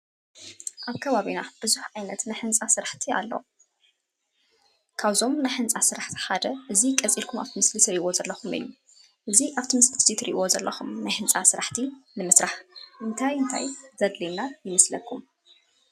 አብ ከባቢና ቡዙሕ ዓይነት ናይ ህንፃ ስራሕቲ አሎ፡፡ ካብዞም ናይ ህንፃ ስራሕቲ ሓደ እዚ ቀፂልኩም አብቲ ምስሊ ትሪእይዎ ዘለኹም እዩ፡፡ እዚ አብቲ ምስሊ እዚ ትሪእይዎ ዘለኹም ናይ ህንፃ ስራሕቲ ንምስራሕ እንታይ እንታይ ዘድልዩና ይመስለኩም?